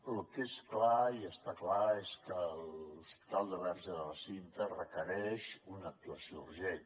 el que és clar i està clar és que l’hospital verge de la cinta requereix una actuació urgent